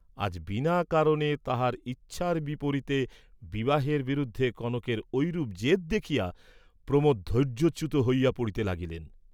আজ বিনা কারণে তাঁহার ইচ্ছার বিপরীতে, বিবাহের বিরুদ্ধে কনকের ঐরূপ জেদ দেখিয়া প্রমোদ ধৈর্য্যচ্যুত হইয়া পড়িতে লাগিলেন।